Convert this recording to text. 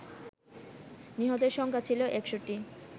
নিহতের সংখ্যা ছিল ৬১